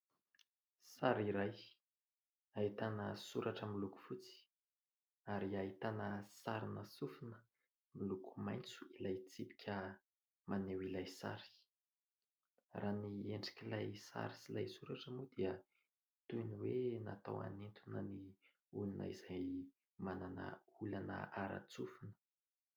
Sary iray ahitana soratra miloko fotsy ary hahitana sary sofina. Miloko maitso ilay tsipika maneho ilay sary. Raha ny endrik'ilay sary sy ilay soratra moa dia toy ny hoe natao anintona ny olona izay manana olana ara-tsofina.